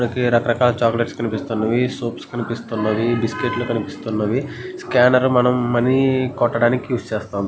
రకరకాల చాక్లెట్స్ కనిపిస్తున్నవి సోపులు కనిపిస్తున్నావి బిస్కెట్లు కనిపిస్తున్నవి స్కానర్లు మనము మనీ కొట్టటానికి ఉస్ చేస్తాము.